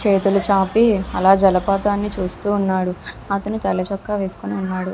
చేతులు చాపి అలా జలపాతాన్ని చూస్తూ ఉన్నాడు అతను తెల్ల చొక్కా వేసుకొని ఉన్నాడు.